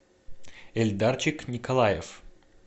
эльдарчик николаев